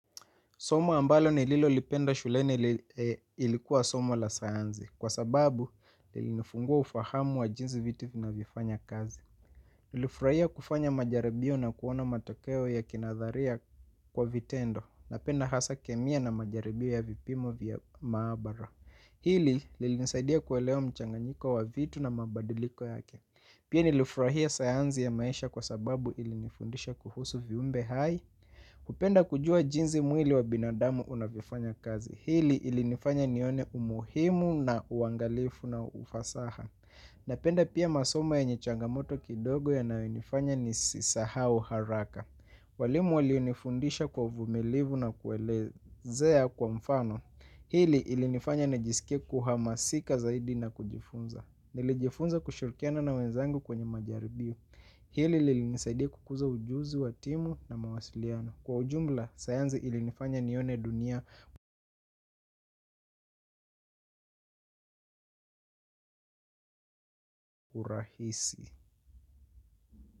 Somo ambalo ni lilo lipenda shulene ilikua somo la sayanzi kwa sababu lilinifungua ufahamu wa jinsi vitu vinavyo fanya kazi nlifraia kufanya majaribio na kuona matokeo ya kinadharia kwa vitendo na penda hasa kemia na majaribio ya vipimo vya maabara. Hili lilinisaidia kwalewa mchanganyiko wa vitu na mabadiliko yake. Pia nilifrahia sayanzi ya maisha kwa sababu ilinifundisha kuhusu viumbe hai. Kupenda kujua jinzi mwili wa binadamu unavifanya kazi. Hili ilinifanya nione umuhimu na uangalifu na ufasaha. Napenda pia masoma yenye changamoto kidogo yanayo nifanya nisisahau haraka. Walimu walionifundisha kwa uvumilivu na kuelezea kwa mfano. Hili ilinifanya najisikia kuhamasika zaidi na kujifunza. Nilijifunza kushirikiana na wenzangu kwenye majaribio. Hili lilinisaidia kukuza ujuzi wa timu na mawasiliano. Kwa ujumla, sayanzi ilinifanya nione dunia urahisi.